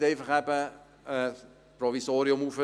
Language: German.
Sie können nicht einfach ein Provisorium erstellen.